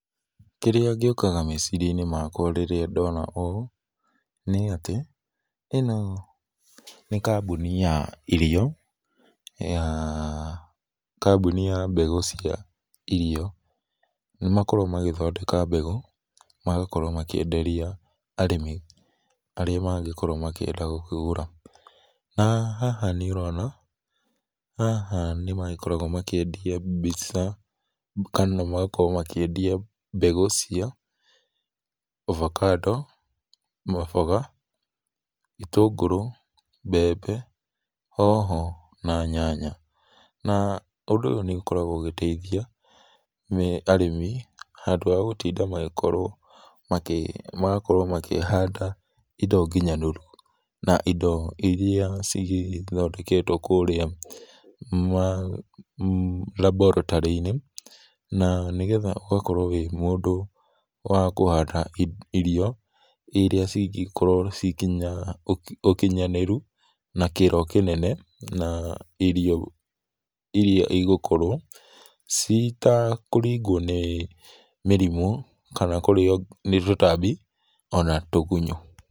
Kĩrĩa gĩũkaga meciria inĩ makwa rĩrĩa ndona ũũ nĩ atĩ ĩno nĩ kambũnĩ ya irio ya kambũnĩ ya mbegũ cia irio nĩ makoragwo magĩthondeka mbegũ, magakorwo makĩenderĩa arĩmi arĩa mangĩkorwo makĩenda gũkĩgũra na haha nĩ ũrona haha nĩ magĩkoragwo makĩendĩa mbĩca kana magakorwo makĩendĩa mbegũ cia ovacado, maboga, itũngũrũ, mbembe, hoho na nyanya, na ũndũ ũyũ nĩ ũkoragwo ũgĩteithĩa arĩmi handũ ha gũtĩnda magĩkorwo magakorwo makĩhanda ĩndo ngĩnyanĩrũ na ĩndo ĩrĩa cigĩthondeketwo kũrĩa laboratory inĩ na nĩ getha ũgakorwo wĩ mũndũ wa kũhanda irio ĩrĩa cingekorwo cina ũkĩnyanĩrũ na kĩro kĩnene, na irio ĩrĩa ĩgũkorwo citakũrĩgwo nĩ mĩrĩmũ kana kũrĩo nĩ tũtambĩ ona tũgũnyo.